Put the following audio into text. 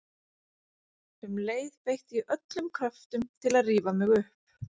Um leið beitti ég öllum kröftum til að rífa mig upp.